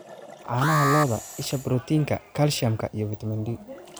Caanaha lo'da: Isha borotiinka, kalsiyumka, iyo fiitamiin D.